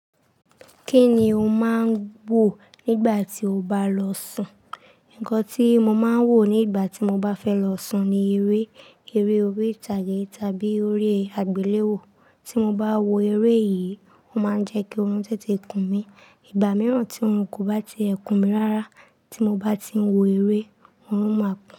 Kí ni o máa ń wò nígbà tí o bá lọ sùn? Ńkan tí mo máa ń wò nígbà tí mo bá fẹ́ lọ sùn ni eré, eré orí ìtàgé tàbí orí àgbéléwò. Tí mo bá wo eré yìí, ó máa ń jẹ́ kí oorun tètè kùn mí. Ìgbà mìíràn tí oorun kò bá ti ẹ̀ kùn mi rárá tí mo bá ti ń wo eré, oorun máa kùn.